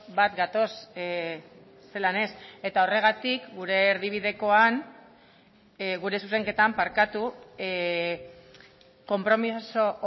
bat gatoz zelan ez eta horregatik gure erdibidekoan gure zuzenketan barkatu konpromiso